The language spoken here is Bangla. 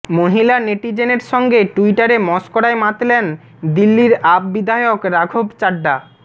মহিলা নেটিজেনের সঙ্গে টুইটারে মশকরায় মাতলেন দিল্লির আপ বিধায়ক রাঘব চাড্ডা